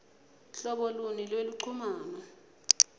hlobo luni lweluchumano